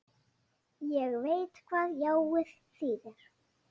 Ég veit hvað jáið þýðir.